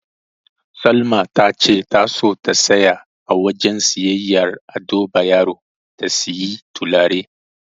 Salma tace ta so ta tsaya a wajen siyayyar Ado Bayero ta siyi turare.